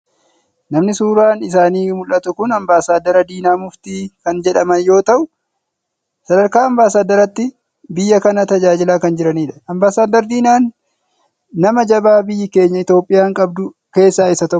Namni suuraan isaanii muldhatu kun ambaasaaddar Diinaa Muftii kan jedhaman yoo ta’u sadarkaa ambaasaaddaraatti biyya kana tajaajilaa kan jiranidha. Ambaasaaddar Diinaan nama jabaa biyyi keenya Itoophiyaan qabdu keessaa isa tokkodha.